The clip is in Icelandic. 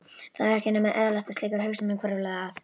Það var ekki nema eðlilegt að slíkar hugsanir hvörfluðu að